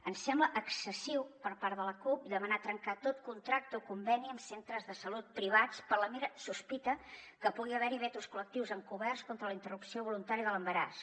ens sembla excessiu per part de la cup demanar trencar tot contracte o conveni amb centres de salut privats per la mera sospita que pugui haver·hi vetos col·lectius encoberts contra la interrupció voluntària de l’embaràs